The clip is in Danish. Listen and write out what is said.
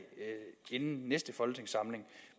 inden næste folketingssamling